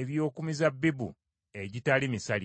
eby’oku mizabbibu egitali misalire.